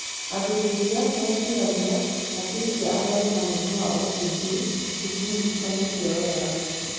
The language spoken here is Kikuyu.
Athuthuria meciragia hakiri cia arĩa mena mũrimũ wa OCD citinyitanĩtio wega.